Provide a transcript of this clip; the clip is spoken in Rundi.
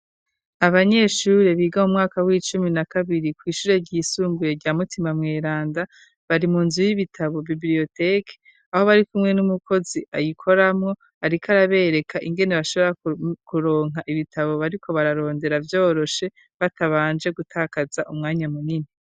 Abanyeshure biga mu mwaka w'icumi na kabiri ku ishure ry'isumbuye rya mutima mweranda bari mu nzu y'ibitabo bibiriyoteke aho bari kumwe n'umukozi ayikoramo ariko arabereka ingene bashobora kuronka ibitabo bariko bararondera byoroshe batabanje gutakaza umwanya munini.